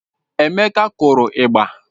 Emeka kụrụ ịgba